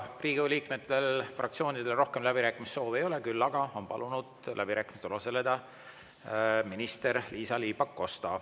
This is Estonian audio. Riigikogu liikmetel, fraktsioonidel rohkem läbirääkimissoovi ei ole, küll aga on palunud läbirääkimistel osaleda minister Liisa-Ly Pakosta.